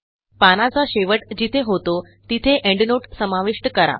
पानाचा शेवट जिथे होतो तिथे एंडनोट समाविष्ट करा